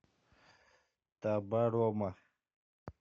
табарома